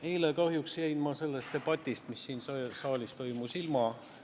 Eile kahjuks jäin ma sellest debatist, mis siin saalis toimus, ilma.